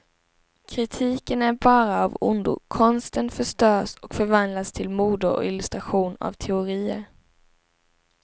Kritiken är bara av ondo, konsten förstörs och förvandlas till mode och illustration av teorier.